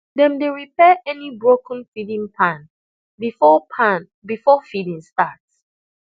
dem dey repair any broken feeding pan before pan before feeding start